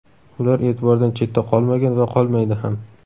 Ular e’tibordan chetda qolmagan va qolmaydi ham.